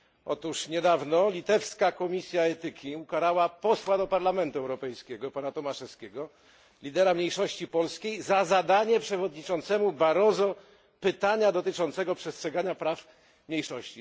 Otóż niedawno Litewska Komisja Etyki Służbowej ukarała posła do Parlamentu Europejskiego, pana Tomaševskiego, lidera mniejszości polskiej, za zadanie przewodniczącemu Barroso pytania dotyczącego przestrzegania praw mniejszości.